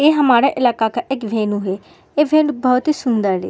ए हमारा इलाका का एक वेन्यू है। ए वेन्यू बोहोत ही सुन्दर है।